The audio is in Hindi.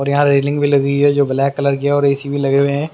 और यहाँ रेलिंग भी लगी हुई हैजो ब्लैक कलर की हैऔर ए_सी भी लगे हुए हैं।